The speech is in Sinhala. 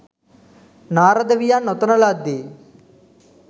නාරද වියන් ඔතන ලද්දේ